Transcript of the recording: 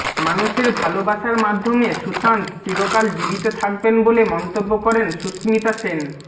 মানুষের ভালবাসার মাধ্যমে সুশান্ত চিরকাল জীবিত থাকবেন বলে মন্তব্য করেন সুস্মিতা সেন